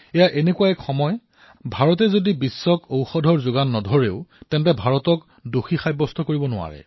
এনে এক সময় হৈছে যে ভাৰতে যদি বিশ্বক ঔষধ নিদিয়েও তথাপিও ভাৰতক কোনেও দোষিব নোৱাৰে